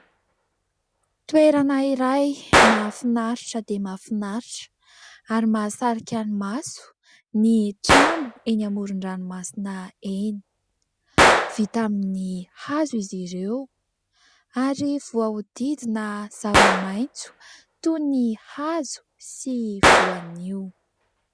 Toerana iray mahafinaritra dia mahafinaritra ary mahasarika ny maso ny trano eny amoron-dranomasina eny. Vita amin'ny hazo izy ireo, ary voahodidina zava-maitso, toy ny hazo sy voanio.